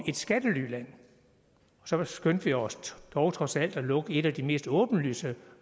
skattelyland så skyndte vi os dog trods alt at lukke et af de mest åbenlyse